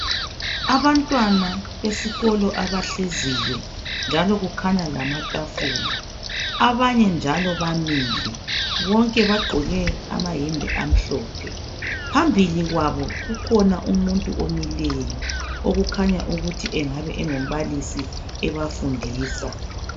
Abantwana besikolo abahleziyo njalo kukhanya lamatafula abanye njalo bamile bonke bagqoke amayembe amhlophe. Phambili kwabo kukhona umuntu omileyo okukhanya ukuthi kungaba ngumbalisi ebafundisa.